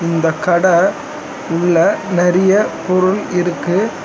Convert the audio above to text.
இந்தக் கட உள்ள நறிய பொருள் இருக்கு.